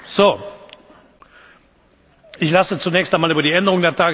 Ich lasse zunächst einmal über die Änderung der Tagesordnung für Mittwoch abstimmen.